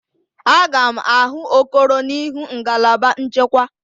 Aga m ahụ Okoro n'ihu ngalaba nchekwa.